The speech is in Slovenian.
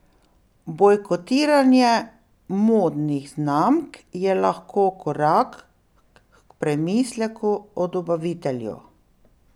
Bojkotiranje modnih znamk je lahko korak h premisleku o dobavitelju.